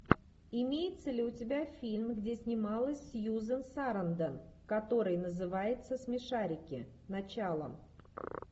имеется ли у тебя фильм где снималась сьюзен сарандон который называется смешарики начало